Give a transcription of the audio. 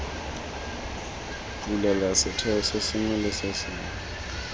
bulela setheo sengwe le sengwe